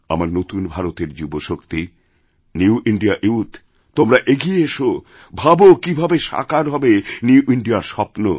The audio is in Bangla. আমার নতুন ভারতের যুবশক্তি নিউ ইন্দিয়া ইউথ তোমরা এগিয়েএসো ভাবো কীভাবে সাকার হবে নিউ ইন্দিয়া র স্বপ্ন